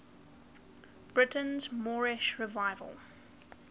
britain's moorish revival